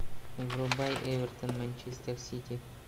врубай эвертон манчестер сити